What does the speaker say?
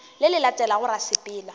le le latelago ra sepela